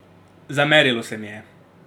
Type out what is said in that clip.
Zamerilo se mi je.